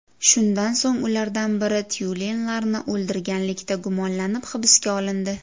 Shundan so‘ng ulardan biri tyulenlarni o‘ldirganlikda gumonlanib hibsga olindi.